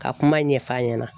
Ka kuma ɲɛf'a ɲɛna.